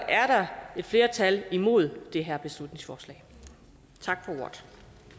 er der et flertal imod det her beslutningsforslag tak for ordet